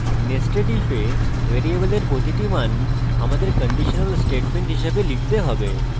nested ইফে ভ্যারিয়েবলের প্রতিটি মান আমাদের কন্ডিশনাল statement হিসাবে লিখতে have